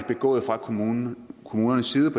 begået fra kommunernes kommunernes side